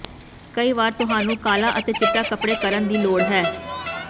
ਕਈ ਵਾਰ ਤੁਹਾਨੂੰ ਕਾਲਾ ਅਤੇ ਚਿੱਟਾ ਕੱਪੜੇ ਕਰਨ ਦੀ ਲੋੜ ਹੈ